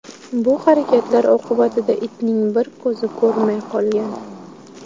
Bu harakatlar oqibatida itning bir ko‘zi ko‘rmay qolgan.